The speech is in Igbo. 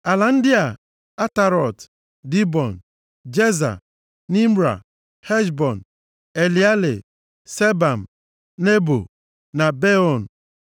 “Ala ndị a: Atarọt, Dibọn, Jeza, Nimra, Heshbọn, Eleale, Sebam, Nebo, na Beon,